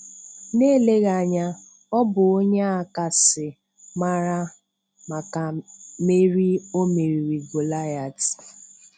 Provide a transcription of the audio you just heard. Na-eleghị anya, Ọ bụ onye a kasị mara maka meri O meriri Goliath.